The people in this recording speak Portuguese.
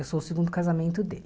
Eu sou o segundo casamento dele.